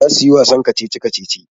Za su yi wasan kacici-kacici.